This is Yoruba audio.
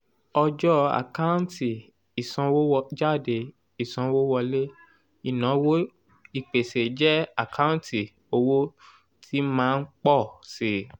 ọjọ́ àkáǹtì ìsanwójáde ìsanwówọlé ìnáwó ìpèsè jẹ́ àkáǹtì owó tí máa ń pọ̀ síi.